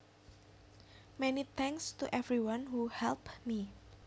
Many thanks to everyone who helped me